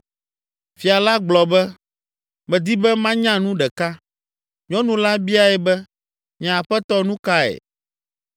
Fia la gblɔ be, “Medi be manya nu ɖeka.” Nyɔnu la biae be, “Nye aƒetɔ, nu kae?”